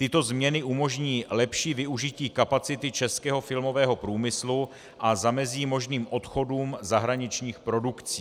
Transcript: Tyto změny umožní lepší využití kapacity českého filmového průmyslu a zamezí možným odchodům zahraničních produkcí.